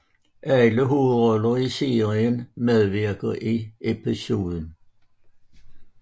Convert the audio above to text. Alle hovedroller i serien medvirker i episoden